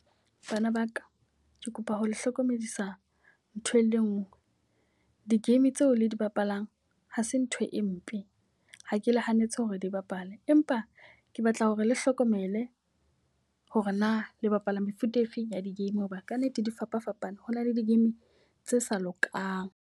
Bana ba ka, ke kopa ho le hlokomedisa ntho e le nngwe. Di-game tseo le di bapalang ha se ntho e mpe, ha ke le hanetse hore di bapale. Empa ke batla hore le hlokomele hore na le bapala mefuta e feng ya di-game. Ho ba ka nnete di fapafapane, ho na le di-game tse sa lokang.